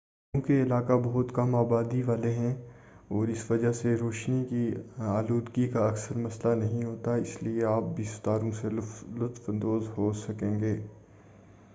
چونکہ یہ علاقے بہت کم آبادی والے ہیں اور اس وجہ سے روشنی کی آلودگی کا اکثر مسئلہ نہیں ہوتا ہے اس لئے آپ بھی ستاروں سے لطف اندوز ہو سکیں گے